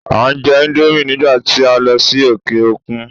A jẹ íńdómì nígbà tí a lọ sí òkè òkun.